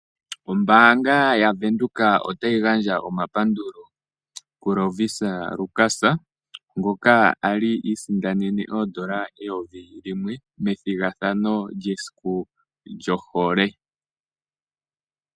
Ombaanga yaVenduka otayi gandja omapandulo kuLovisa Lukas, ngoka kwali iisindanene N$1000 methigathano lyesiku lyohole.